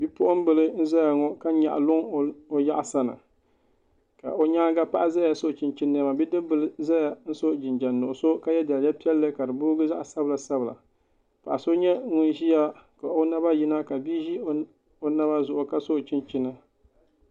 Bipuɣunbili n ʒɛya ŋo ka nyaɣa luŋ o yaɣasa ni o nyaanga paɣa ʒɛya so chinchin niɛma ka bidib bili ʒɛya n so jinjɛm nuɣso ka yɛ daliya piɛlli ka di boogi zaɣ sabila sabila paɣa so nyɛ ŋun ʒiya ka o naba yina ka bia ʒi o naba zuɣu ka so chinchini